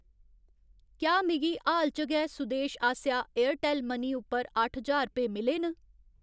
क्या मिगी हाल च गै सुदेश आसेआ एयरटैल्ल मनी उप्पर अट्ठ ज्हार रपेऽ मिले न ?